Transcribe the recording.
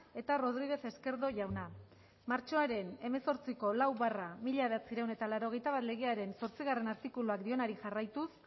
eta rodríguez esquerdo jauna martxoaren hemezortziko lau barra mila bederatziehun eta laurogeita bat legearen zortzigarrena artikuluak dionari jarraituz